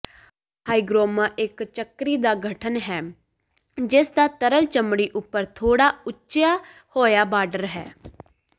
hygroma ਇਕ ਚੱਕਰੀ ਦਾ ਗਠਨ ਹੈ ਜਿਸਦਾ ਤਰਲ ਚਮੜੀ ਉਪਰ ਥੋੜ੍ਹਾ ਉਚਿਆ ਹੋਇਆ ਬਾਰਡਰ ਹੈ